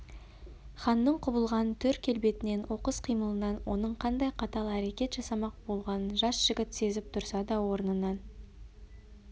ханның құбылған түр келбетінен оқыс қимылынан оның қандай қатал әрекет жасамақ болғанын жас жігіт сезіп тұрса да орнынан